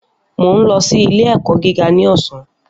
Mo ń lọ sí ilé ẹ̀kọ́ gíga ní ọ̀sán